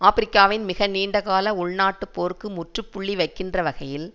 ஆபிரிக்காவின் மிக நீண்டகால உள்நாட்டுப்போருக்கு முற்றுப்புள்ளி வைக்கின்ற வகையில்